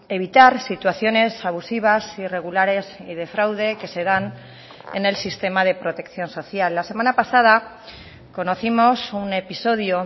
evitar situaciones abusivas irregulares y de fraude que se dan en el sistema de protección social la semana pasada conocimos un episodio